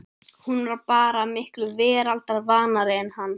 Hún var bara miklu veraldarvanari en hann.